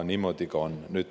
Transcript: Niimoodi ta on.